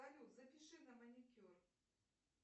салют запиши на маникюр